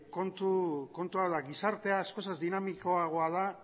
kontua da gizartea askoz ere dinamikoagoa da